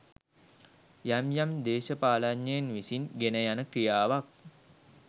යම් යම් දේශපාලනඥයින් විසින් ගෙන යන ක්‍රියාවක්.